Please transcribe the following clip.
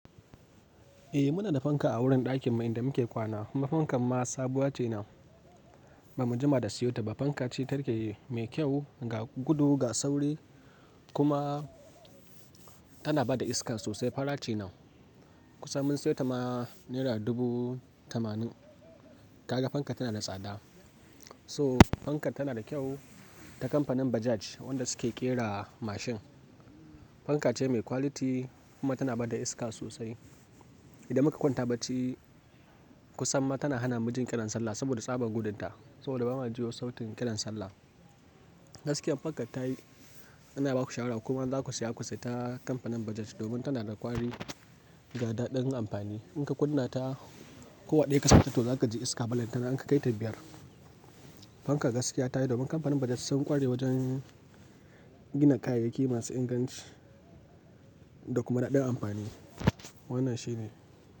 Eh muna da fanka a wurin ɗakin mu inda muke kwana. Fankan ma sabuwa ce nan, ba mu jima da siyo ta ba. Fanka ce take mai kyau, ga gudu, ga sauri kuma tana ba da iska sosai. Fara ce nau. Kusan mun sayar ta ma naira dubu tamanin. Kaga fankar tana da tsada. So fankar tana da kyau ta kamfanin Bajaj wanda suke ƙera mashin. Fanka ce mai quality kuma tana ba da iska sosai. Idan muka kwanta bacci kusan ma tana hana mu jin kiran sallah saboda tsabar gudunta. Saboda ba ma jiyo sautin kiran sallah. Gaskiya fanka ta yi, ina baku shawara kuma in za ku saya ku sayi ta kamfanin Bajaj domin tana da ƙwari ga daɗin amfani. In ka kunna ta, ko a ɗaya ka sata to za ka ji iska balantana in ka kai ta biyar. Fankar gaskiya ta yi domin kamfanin Bajaj sun ƙware wajen gina kayayyaki masu inganci da kuma daɗin amfani. Wannan shi ne.